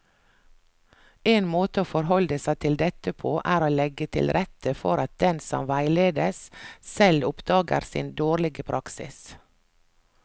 En måte å forholde seg til dette på er å legge til rette for at den som veiledes, selv oppdager sin dårlige praksis.